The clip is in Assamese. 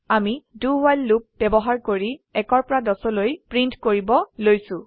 আমি do ৱ্হাইল লুপ ব্যবহাৰ কৰি 1 পৰা 10লৈ প্ৰীন্ট কৰিব লৈছো